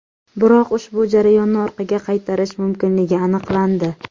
Biroq ushbu jarayonni orqaga qaytarish mumkinligi aniqlandi.